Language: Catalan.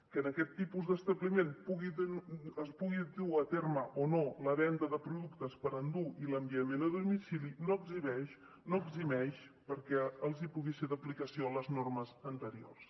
que en aquest tipus d’establiment es pugui dur a terme o no la venda de productes per endur i l’enviament a domicili no eximeix perquè els puguin ser d’aplicació les normes anteriors